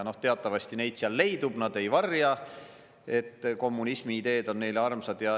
Teatavasti neid seal leidub, nad ei varja, et kommunismi ideed on neile armsad.